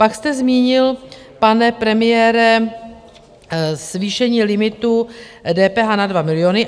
Pak jste zmínil, pane premiére, zvýšení limitu DPH na 2 miliony.